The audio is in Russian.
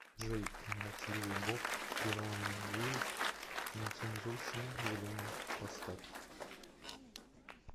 джей и молчаливый боб ирландеют нецензурщина в зеленом поставь